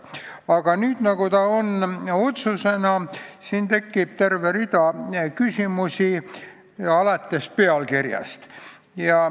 Aga nüüd, kui ta on siin otsuse projektina, siis tekib terve rida küsimusi, alates pealkirjast.